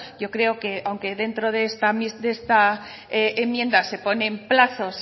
yo creo que aunque dentro de esta enmienda se ponen plazos